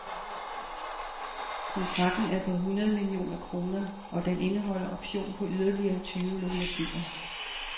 Kontrakten er på hundrede millioner kroner, og den indeholder option på yderligere tyve lokomotiver.